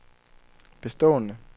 bestående